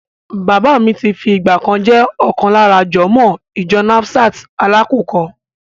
Bàbá mi ti fi ìgbà kan jẹ́ ọ̀kan lára jọ̀mọ́ọ̀ ìjọ Nasfat Alákùkọ.